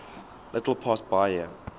little past bahia